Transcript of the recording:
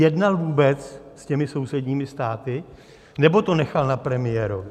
Jednal vůbec s těmi sousedními státy, nebo to nechal na premiérovi?